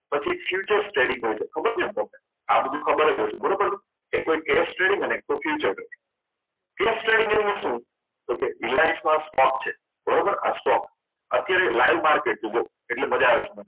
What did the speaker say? પછી future trading હોય છે ખબર છે ને તમને આ બધું ખબર જ હશે બરાબર છે એક તો case trading અને future trading case trading એટલે શું તો કે Reliance stock છે બરોબર આ stock અત્યારે live market છે જો એટલે મજા આવશે